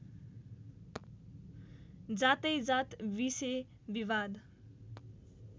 जातैजात विषे विवाद